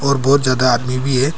और बहुत ज्यादा आदमी भी है।